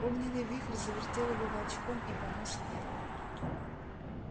огненный вихрь завертел его волчком и понёс вверх